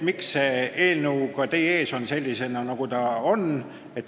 Miks on see eelnõu teie ees sellisena, nagu ta on?